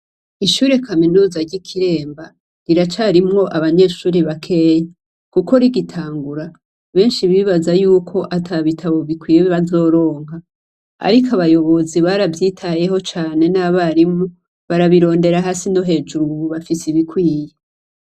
Ishure kaminuza ry'i Kiremba riracarimwo abanyeshure bakeyi, kuko rigitangura benshi bibaza yuko ata bitabo bikwiye bazoronka. Ariko abayobozi baravyitayeho cane n'abarimu barabirondera hasi no hejuru, ubu bafise ibikwiye.